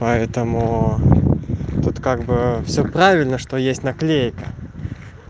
поэтому тут как бы все правильно что есть наклейка